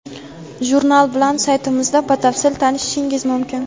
Jurnal bilan saytimizda batafsil tanishishingiz mumkin.